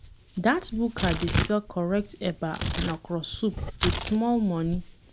Dat buka dey sell correct eba and okro soup wit small moni.